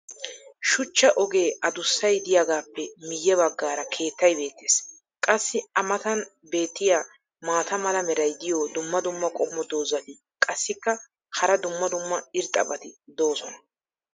shuchcha ogee adussay diyaagaappe miye bagaara keettay beetees. qassi a matan beetiya maata mala meray diyo dumma dumma qommo dozzati qassikka hara dumma dumma irxxabati doosona.